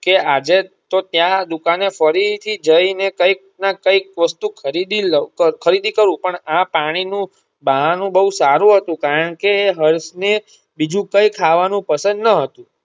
કે આજે તો ત્યાં દુકાને ફરી થી જઈ ને કંઈક નું કંઈક વસ્તુ ખરીદી લવ ખરીદી કરું પણ આ પાણી નું બહાનું બોવ સારું હતું કારણ કે એ હર્ષ ને બીજું કઈ ખવાનું પસંદ ન હતું.